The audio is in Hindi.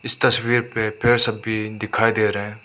इस तस्वीर पे पेड़ सब भी दिखाई दे रहा है।